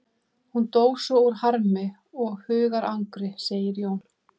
Hún dó svo úr harmi og hugarangri, segir Jón.